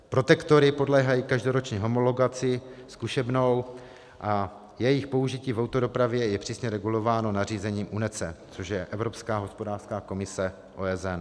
Protektory podléhají každoročně homologaci zkušebnou a jejich použití v autodopravě je přísně regulováno nařízením UNECE, což je Evropská hospodářská komise OSN.